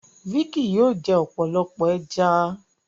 Vicky? yóò jẹ ọpọlọpọ ẹja.